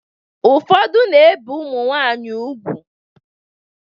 Ụfọdụ na-ebe ụmụnwanyị ugwu.